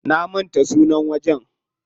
Na manta sunan wajen.